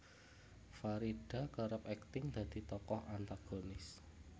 Farida kerep akting dadi tokoh antagonis